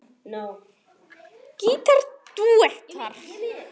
Gítar dúettar